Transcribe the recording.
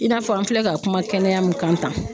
I n'a fɔ an filɛ ka kuma kɛnɛya min kan tan